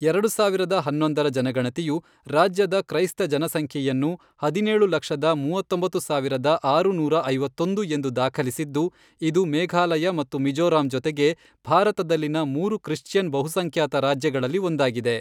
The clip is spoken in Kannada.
ಎರಡು ಸಾವಿರದ ಹನ್ನೊಂದರ ಜನಗಣತಿಯು, ರಾಜ್ಯದ ಕ್ರೈಸ್ತ ಜನಸಂಖ್ಯೆಯನ್ನು ಹದಿನೇಳು ಲಕ್ಷದ, ಮೂವತ್ತೊಂಬತ್ತು ಸಾವಿರದ ಆರುನೂರ ಐವತ್ತೊಂದು, ಎಂದು ದಾಖಲಿಸಿದ್ದು, ಇದು ಮೇಘಾಲಯ ಮತ್ತು ಮಿಜೋರಾಂ ಜೊತೆಗೆ ಭಾರತದಲ್ಲಿನ ಮೂರು ಕ್ರಿಶ್ಚಿಯನ್ ಬಹುಸಂಖ್ಯಾತ ರಾಜ್ಯಗಳಲ್ಲಿ ಒಂದಾಗಿದೆ.